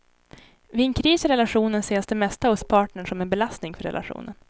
Vid en kris i relationen ses det mesta hos partnern som en belastning för relationen.